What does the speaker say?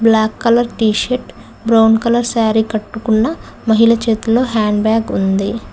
Black colour t shirt brown colour sari కట్టుకున్న మహిళ చేతుల్లో హ్యాండ్ బ్యాగ్ ఉంది.